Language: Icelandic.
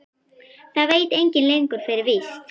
Það veit enginn lengur fyrir víst.